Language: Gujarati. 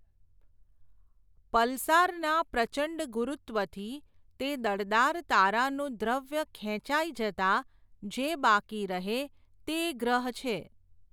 પલ્સારના પ્રચંડ ગુરૂત્વથી, તે દળદાર તારાનું દ્રવ્ય ખેંચાય જતા જે બાકી રહે તે ગ્રહ છે.